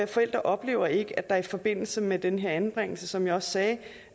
forældre oplever ikke at der i forbindelse med den her anbringelse som jeg sagde